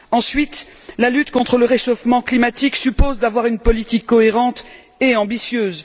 Ensuite, la lutte contre le réchauffement climatique suppose d'avoir une politique cohérente et ambitieuse.